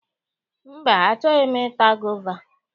Mba, achọghi m i ta gova.